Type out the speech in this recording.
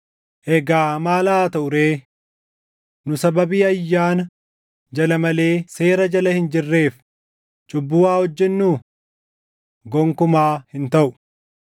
Egaa maal haa taʼu ree? Nu sababii ayyaana jala malee seera jala hin jirreef cubbuu haa hojjennuu? Gonkumaa hin taʼu!